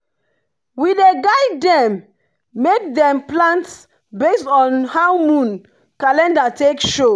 we dey guide dem make dem plant based on how moon calendar take show.